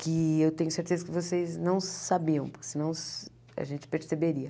que eu tenho certeza que vocês não sabiam, senão a gente perceberia.